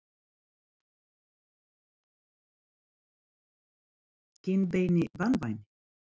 kinnbeini banvænir?